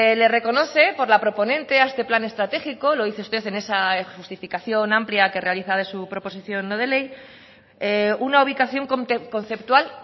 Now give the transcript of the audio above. le reconoce por la proponente a este plan estratégico lo dice usted en esa justificación amplia que realiza de su proposición no de ley una ubicación conceptual